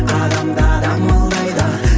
адамдар амалдайды